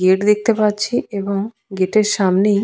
gate দেখতে পাচ্ছি এবং গেট এর সামনেই--